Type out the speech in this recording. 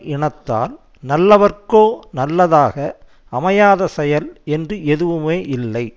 இனத்தால் நல்லவர்க்கோ நல்லதாக அமையாத செயல் என்று எதுவுமே இல்லை